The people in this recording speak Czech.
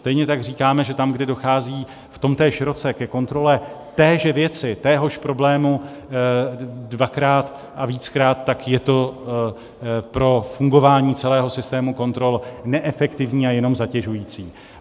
Stejně tak říkáme, že tam, kde dochází v tomtéž roce ke kontrole téže věci, téhož problému, dvakrát a víckrát, tak je to pro fungování celého systému kontrol neefektivní a jenom zatěžující.